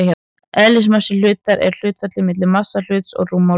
Eðlismassi hlutar er hlutfallið milli massa hlutarins og rúmmáls.